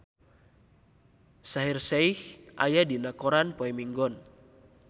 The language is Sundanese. Shaheer Sheikh aya dina koran poe Minggon